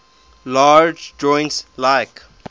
larger joints like